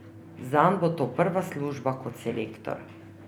Zanj bo to prva služba kot selektor.